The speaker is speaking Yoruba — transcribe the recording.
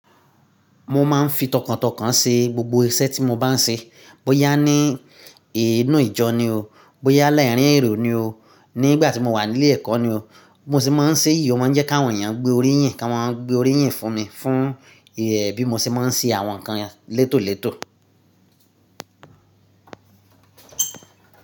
Mo máa ń fi tọkàntọkàn ṣe gbogbo iṣẹ́ tí mo bá ń ṣe. Bóyá ní inù ìjọ ni o, bóyá láaarín ẹ̀rọ̀ ni o, nígbà tí mo wà nílé ẹ̀kọ́ ni o, bi mo sì máa ń ṣe iyì, ó máa ń jẹ́ kí àwọn èèyàn gbé orí yìn, kí wọ́n máa gbé orí yìn fún mi, fún ẹ̀ bi mo ṣe máa ń ṣe àwọn nǹkan létòlétò.